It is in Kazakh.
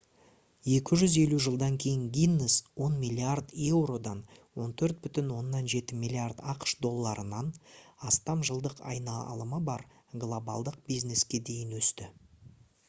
250 жылдан кейін гиннес 10 миллиард еуродан 14,7 миллиард ақш долларынан астам жылдық айналымы бар глобалдық бизнеске дейін өсті